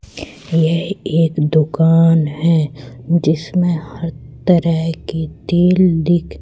ये एक दुकान है जिसमें हर तरह की तेल दिख--